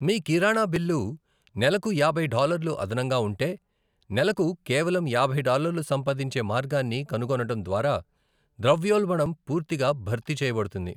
మీ కిరాణా బిల్లు నెలకు యాభై డాలర్లు అదనంగా ఉంటే, నెలకు కేవలం యాభై డాలర్లు సంపాదించే మార్గాన్ని కనుగొనడం ద్వారా ద్రవ్యోల్బణం పూర్తిగా భర్తీ చేయబడుతుంది.